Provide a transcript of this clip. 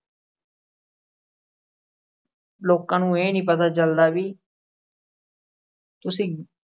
ਲੋਕਾਂ ਨੂੰ ਇਹ ਨੀ ਪਤਾ ਚੱਲਦਾ ਵੀ ਤੁਸੀਂ